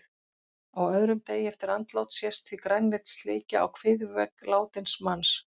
Á öðrum degi eftir andlát sést því grænleit slikja á kviðvegg látins manns.